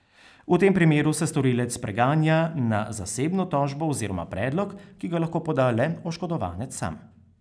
V tem primeru se storilec preganja na zasebno tožbo oziroma predlog, ki ga lahko poda le oškodovanec sam.